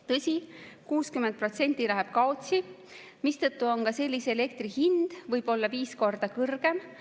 Tõsi, 60% läheb kaotsi, mistõttu on ka sellise elektri hind võib-olla viis korda kõrgem.